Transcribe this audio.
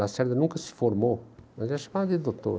Lacerda nunca se formou, mas ela chamava de doutor.